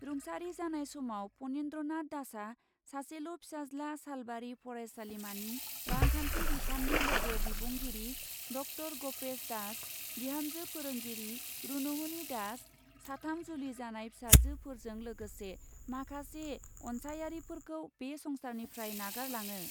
रुंसारि जानाय समाव पनिन्द्रनाथ दासआ सासेल' फिसाज्ला सालबारि फरायसालिमानि रांखान्थि बिफाननि लोगो बिबुंगिरि ड॰ गपेस दास, बिहामजो फोरोंगिरि रुनुमनि दास, साथाम जुलि जानाय फिसाजोफोरजों लोगोसे माखासे अन्सायारिफोरखौ बे संसारनिफ्राय नागारलाङो ।